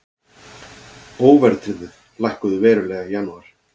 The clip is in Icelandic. Óverðtryggð lækkuðu verulega í janúar